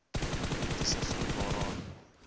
etniese groep waaraan